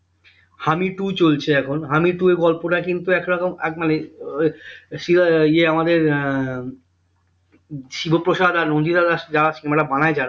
হামি two চলছে এখন হামি two এর গল্পটা কিন্তু এক রকম আহ মানে ইয়ে আমাদের আহ শিবপ্রসাদ আর নন্দিতা দাস যারা cinema টা বানাই যারা